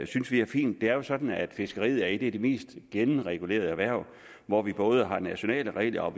synes vi er fint det er sådan at fiskeriet er et af de mest gennemregulerede erhverv hvor vi både har nationale regler og